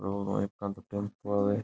रोड उ एकानी तो टेम्पू है भाई।